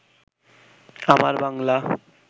আমার বাংলা